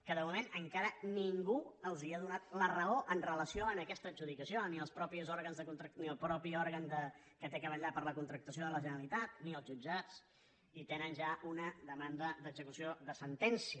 que de moment encara ningú els ha donat la raó amb relació a aquesta adjudicació ni el mateix òrgan que ha de vetllar per la contractació de la generalitat ni els jutjats i tenen ja una demanda d’execució de sentència